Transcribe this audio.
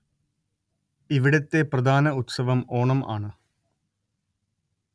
ഇവിടത്തെ പ്രധാന ഉത്സവം ഓണം ആണ്